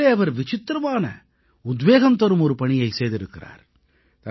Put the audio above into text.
அதிலே அவர் விசித்திரமான உத்வேகம்தரும் ஒரு பணியைச் செய்திருக்கிறார்